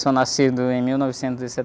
Sou nascido em mil novecentos e